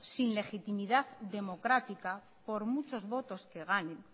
sin legitimidad democrática por muchos votos que ganen